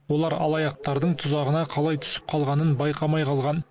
олар алаяқтардың тұзағына қалай түсіп қалғанын байқамай қалған